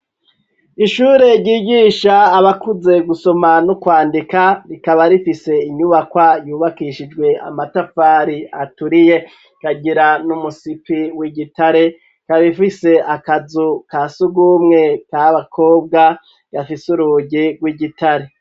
Ishure ryigisha abakuze gusoma no kwandika rikaba rifise inyubakwa yubakishijwe amatafari aturiye ikagira n'umusipi w'igitare ikaba ifise akazu kasugumwe ka bakobwa gafise urugi rw'igitare.